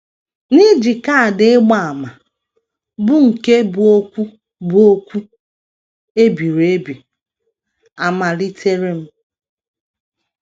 N’iji kaadị ịgba àmà, bụ́ nke bu okwu bu okwu e biri ebi, amalitere m.